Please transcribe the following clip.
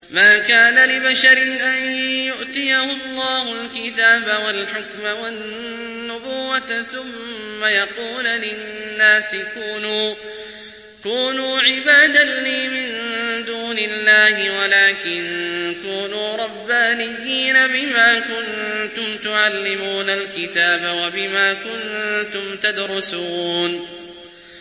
مَا كَانَ لِبَشَرٍ أَن يُؤْتِيَهُ اللَّهُ الْكِتَابَ وَالْحُكْمَ وَالنُّبُوَّةَ ثُمَّ يَقُولَ لِلنَّاسِ كُونُوا عِبَادًا لِّي مِن دُونِ اللَّهِ وَلَٰكِن كُونُوا رَبَّانِيِّينَ بِمَا كُنتُمْ تُعَلِّمُونَ الْكِتَابَ وَبِمَا كُنتُمْ تَدْرُسُونَ